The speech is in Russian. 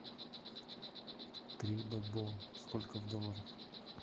три бальбоа сколько в долларах